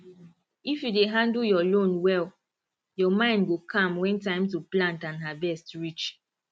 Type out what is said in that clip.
if you dey handle your loan well your mind go calm when time to plant and harvest reach